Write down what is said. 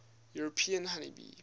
european honey bee